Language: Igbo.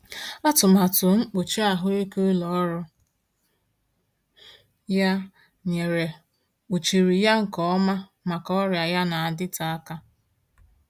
Atụmatụ mkpuchi ahụike ụlọ ọrụ ya nyere kpuchiri ya nke ọma maka ọrịa ya na-adịte aka.